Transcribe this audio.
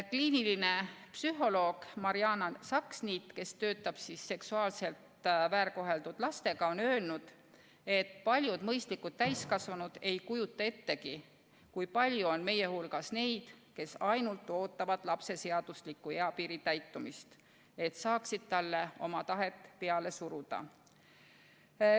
Kliiniline psühholoog Mariana Saksniit, kes töötab seksuaalselt väärkoheldud lastega, on öelnud, et paljud mõistlikud täiskasvanud ei kujuta ettegi, kui palju on meie hulgas neid, kes ainult ootavad lapse seadusliku eapiiri täitumist, et saaksid talle oma tahet peale suruda.